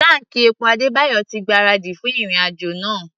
Táǹkì epo Adébáyọ̀ ti gbáradì fún ìrìn-àjò náà.